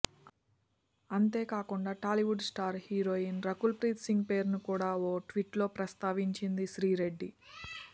అంతేకాకుండా Tollywood star heroine Rakul Preet Singh పేరును కూడా ఓ ట్వీట్లో ప్రస్తావించింది శ్రీరెడ్డి